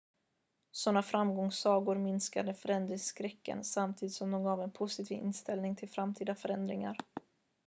sådana framgångssagor minskade förändringsskräcken samtidigt som det gav en positiv inställning till framtida förändringar